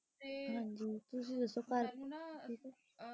ਅਹ ਤੇ ਹਾਂਜੀ ਤੁਸੀਂ ਦੱਸੋ ਮੈਨੂੰ ਨਾ।